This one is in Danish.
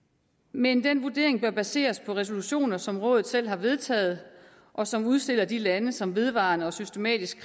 men den vurdering bør baseres på resolutioner som rådet selv har vedtaget og som udstiller de lande som vedvarende og systematisk